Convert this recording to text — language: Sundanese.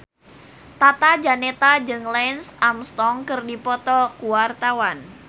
Tata Janeta jeung Lance Armstrong keur dipoto ku wartawan